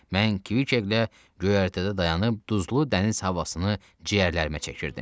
Mən Kviqqlə göyərtədə dayanıb duzlu dəniz havasını ciyərlərimə çəkirdim.